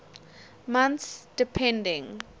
months depending